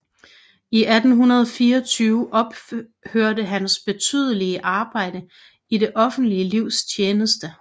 I 1824 ophørte hans betydelige arbejde i det offentlige livs tjeneste